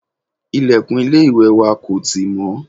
ilẹ̀kùn ilé ìwẹ̀ wa kò tì mọ́